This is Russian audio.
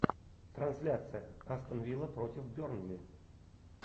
трансляция астон вилла против бернли